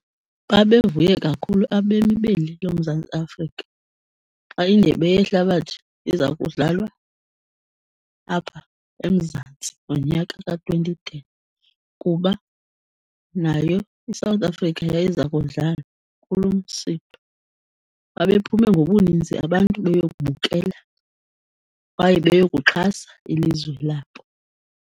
Babevuye kakhulu abemi beli loMzantsi Afrika xa iNdebe yeHlabathi iza kudlalwa apha eMzantsi ngonyaka ka-twenty ten, kuba nayo iSouth Africa yayiza kudlala kulo msitho. Babephume ngobuninzi abantu beyokubukela kwaye beyokuxhasa ilizwe labo.